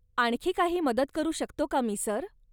आणखी काही मदत करू शकतो का मी, सर?